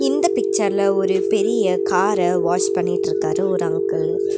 இந்த பிச்சர்ல ஒரு பெரிய கார வாஷ் பண்ணிட்ருக்காரு ஒரு அங்கிள் .